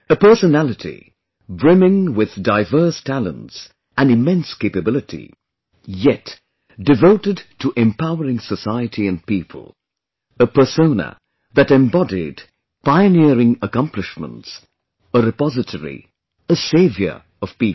A personality brimming with diverse talents and immense capability, yet devoted to empowering society and people, a persona that embodied pioneering accomplishments, a repository, a savior of people